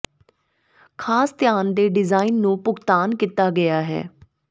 ਖਾਸ ਧਿਆਨ ਦੇ ਡਿਜ਼ਾਇਨ ਨੂੰ ਭੁਗਤਾਨ ਕੀਤਾ ਗਿਆ ਹੈ